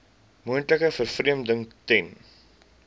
moontlike vervreemding ten